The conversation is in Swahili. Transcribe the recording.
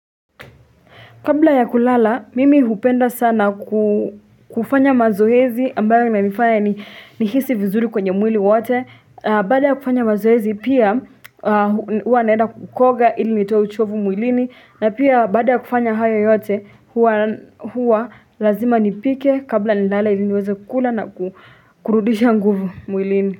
Kabla ya kulala, mimi hupenda sana kufanya mazoezi ambayo inanifanya nihisi vizuri kwenye mwili wote. Baada ya kufanya mazoezi, pia huwa naenda kukoga ili nitoe uchovu mwilini. Na pia baada ya kufanya hayo yote huwa lazima nipike kabla nilala ili niweze kukula na kurudisha nguvu mwilini.